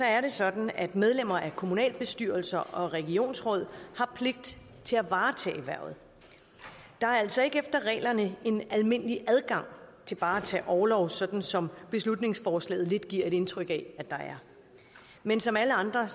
er det sådan at medlemmer af kommunalbestyrelser og regionsråd har pligt til at varetage hvervet der er altså ikke efter reglerne en almindelig adgang til bare at tage orlov sådan som beslutningsforslaget lidt giver et indtryk af at der er men som alle andre